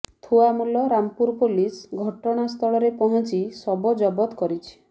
Thuamul Rampur police ଘଟଣା ସ୍ଥଳରେ ପହଞ୍ଚି ଶବ ଜବତ କରିଛି